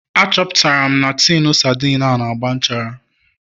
Achọpụtara m na tinu sardine a na-agba nchara